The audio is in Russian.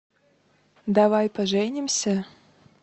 давай поженимся